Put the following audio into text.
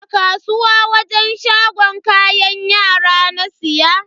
A kasuwa wajen shagon kayan yara na siya.